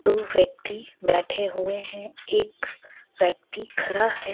दो व्यक्ति बैठे हुए हैं एक व्यक्ति खड़ा है.